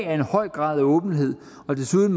er en høj grad af åbenhed der desuden